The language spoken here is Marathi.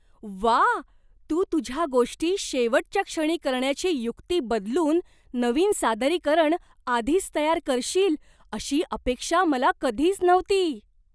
व्वा! तू तुझ्या गोष्टी शेवटच्या क्षणी करण्याची युक्ती बदलून नवीन सादरीकरण आधीच तयार करशील अशी अपेक्षा मला कधीच नव्हती.